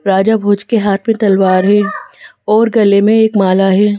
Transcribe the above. राजा भोज के हाथ में तलवार है और गले में एक माला है।